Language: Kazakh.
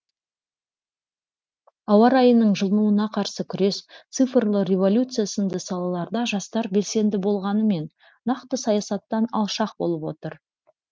ауа райының жылынуына қарсы күрес цифрлы революция сынды салаларда жастар белсенді болғанымен нақты саясаттан алшақ болып отыр